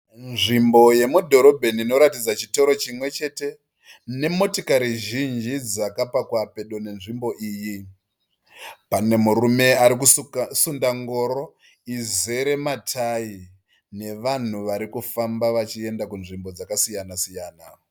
Nzvimbo yemudhorobheni inoratidza chitoro chimwe chete nemotikari zhinji dzakapakwa pedo nenzvimbo iyi. Pane murume ari kusunda ngoro izere matayi nevanhu vari kufamba vachienda kunzvimbo dzakasiyana siyana-siyana.